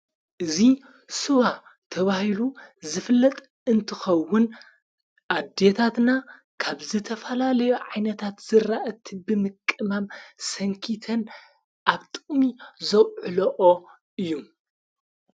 እዙ ስዋ ተባሂሉ ዝፍለጥ እንትኸውን ኣዲታትና ካብ ዝተፈላለዮ ዓይነታት ዘራእቲ ብምቅማም ሰንኪተን ኣብ ጥቅሚ ዘውዕለኦ እዩ።